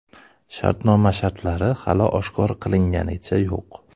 Shartnoma shartlari hali oshkor qilinganicha yo‘q.